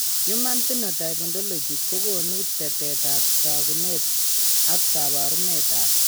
Human Phenotype Ontology kogonu tetet ab takunet ak kabarunet ab